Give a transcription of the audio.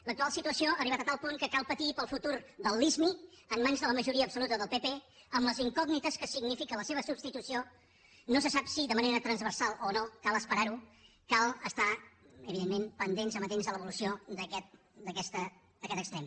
l’actual situació ha arribat a tal punt que cal patir pel futur de la lismi en mans de la majoria absoluta del pp amb les incògnites que significa la seva substitució no se sap si de manera transversal o no cal esperar ho cal estar evidentment pendents amatents a l’evolució d’aquest extrem